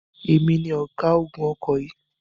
Èmi ni ọ̀gágun ọkọ̀ yìí.